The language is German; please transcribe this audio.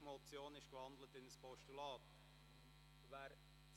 Die Motion wurde in ein Postulat gewandelt.